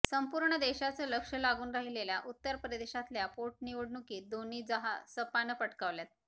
संपूर्ण देशाचं लक्ष लागून राहिलेल्या उत्तर प्रदेशातल्या पोटनिवडणुकीत दोन्ही जाहा सपानं पटकावल्यात